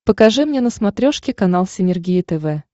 покажи мне на смотрешке канал синергия тв